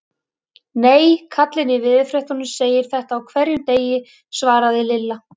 Nei, kallinn í veðurfréttunum segir þetta á hverjum degi svaraði Lilla.